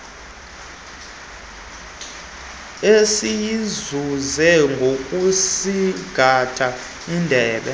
esiyizuze ngokusingatha indebe